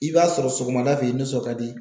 I b'a sɔrɔ sɔgɔmada fɛ i nisɔn kadi.